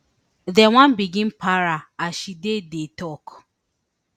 den one begin para as she dey dey tok